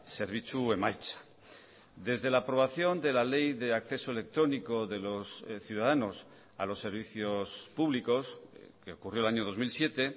zerbitzu emaitza desde la aprobación de la ley de acceso electrónico de los ciudadanos a los servicios públicos que ocurrió el año dos mil siete